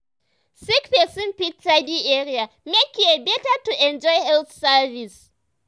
sick person fit tidy area make care better to enjoy health service.